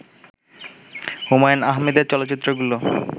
হুমায়ূন আহমেদের চলচ্চিত্রগুলো